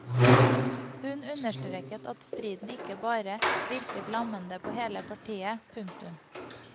Hun understreket at striden ikke bare virket lammende på hele partiet. punktum